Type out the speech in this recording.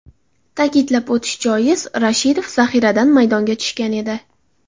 Ta’kidlab o‘tish joiz, Rashidov zaxiradan maydonga tushgan edi.